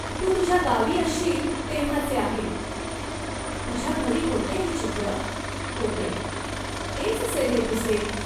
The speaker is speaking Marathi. तू तुझ्या गावी असशील, तेव्हाचे आहे. तुझ्या घरी होते हे चित्र ?" "होते." "तेच असेल हे तुझे.